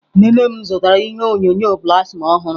Nne nne m zụtara ihe onyonyo plasma ọhụrụ.